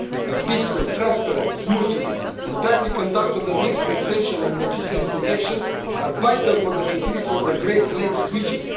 A peaceful, transparent, smooth and timely conducting of the next presidential and legislative elections are vital for the security of the Great Lakes region.